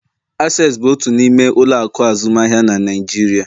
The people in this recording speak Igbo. Access bụ otu n'ime ụlọ akụ azụmaahịa na nigeria.